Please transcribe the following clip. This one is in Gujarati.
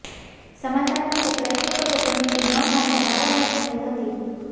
સમાધાન માટે પ્રયત્ન કર્યો પરંતુ ન માનતા મારા મારી થઇ હતી